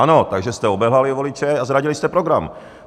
Ano, takže jste obelhali voliče a zradili jste program.